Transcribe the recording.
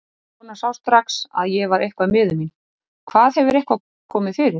Konan sá strax að ég var eitthvað miður mín. Hvað, hefur eitthvað komið fyrir?